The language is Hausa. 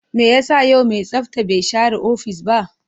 Me yasa yau mai tsafta bai share ofis ba?